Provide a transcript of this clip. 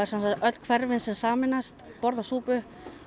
öll hverfin sem sameinast borða súpu